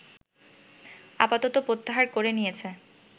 আপাতত প্রত্যাহার করে নিয়েছে